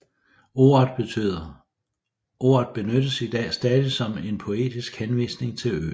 Ordet benyttes i dag stadig som en poetisk henvisning til øen